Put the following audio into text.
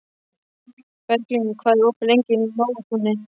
Berglín, hvað er opið lengi í Nóatúni?